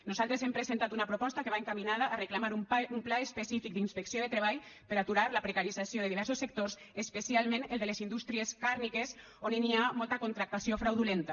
nosaltres hem presentat una proposta que va encaminada a reclamar un pla específic d’inspecció de treball per aturar la precarització de diversos sectors especialment el de les indústries càrnies on hi ha molta contractació fraudulenta